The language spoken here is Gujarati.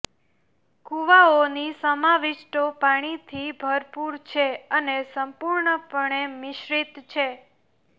કુવાઓની સમાવિષ્ટો પાણીથી ભરપૂર છે અને સંપૂર્ણપણે મિશ્રિત છે